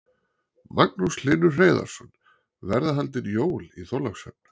Magnús Hlynur Hreiðarsson: Verða haldin jól í Þorlákshöfn?